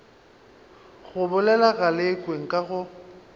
go bolela galekwe nka go